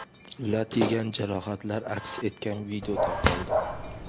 lat yegan jarohatlar aks etgan video tarqaldi.